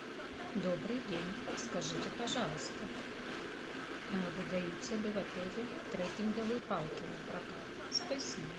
добрый день скажите пожалуйста выдаются ли в отеле трекинговые палки на прокат спасибо